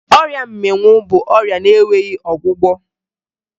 Ọrịa mmịnwụ bụ ọrịa na-enweghi ọgwụgwọ